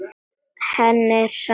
Henni er sama.